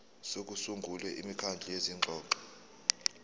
sokusungula imikhandlu yezingxoxo